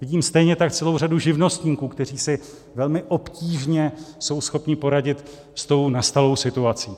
Vidím stejně tak celou řadu živnostníků, kteří si velmi obtížně jsou schopni poradit s tou nastalou situací.